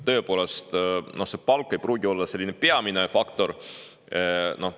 Tõepoolest, palk ei pruugi olla peamine faktor.